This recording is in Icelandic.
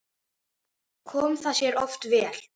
Kom það sér oft vel.